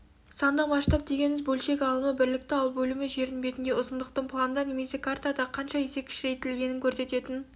сандық масштаб дегеніміз бөлшек алымы бірлікті ал бөлімі жердің бетіндегі ұзындықтың планда немесе картада қанша есе кішірейтілгенін көрсететін